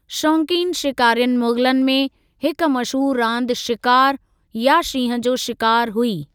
शौक़ीनु शिकारियुनि मुग़लनि में, हिक मशहूरु रांदि शिकारु या शींहं जो शिकारु हुई।